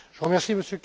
Je remercie